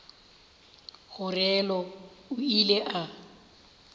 go realo o ile a